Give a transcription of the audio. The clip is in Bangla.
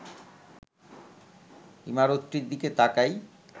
ইমারতটির দিকে তাকাই